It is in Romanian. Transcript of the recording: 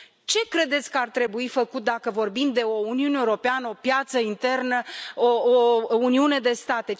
Ce credeți că ar trebui făcut dacă vorbim de o Uniune Europeană, o piață internă, o uniune de state?